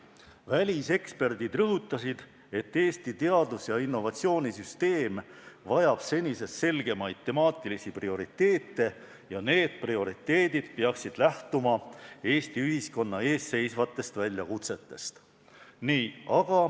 Väliseksperdid rõhutasid, et Eesti teadus- ja innovatsioonisüsteem vajab senisest selgemaid temaatilisi prioriteete ja need prioriteedid peaksid lähtuma Eesti ühiskonna ees seisvatest väljakutsetest.